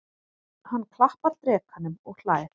Hann klappar drekanum og hlær.